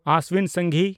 ᱚᱥᱥᱤᱱ ᱥᱟᱝᱜᱷᱤ